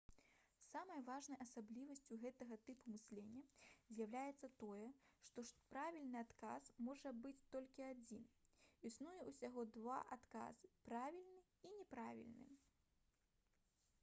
самай важнай асаблівасцю гэтага тыпу мыслення з'яўляецца тое што правільны адказ можа быць толькі адзін існуе ўсяго два адказы правільны і няправільны